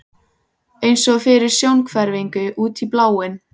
eins og fyrir sjónhverfingu, út í bláinn.